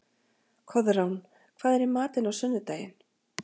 Koðrán, hvað er í matinn á sunnudaginn?